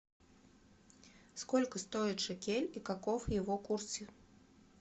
сколько стоит шекель и каков его курс